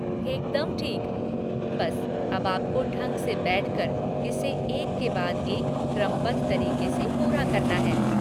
एकदम ठीक! बस अब आपको ढंग से बैठकर, इसे, एक के बाद एक क्रमबद्ध तरीक़े से पूरा करना है।